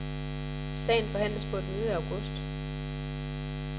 Sagen forhandles på et møde i august.